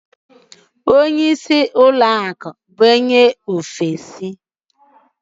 Onye njikwa akụ isi ụlọ ọrụ anyị bụ onye ofesi.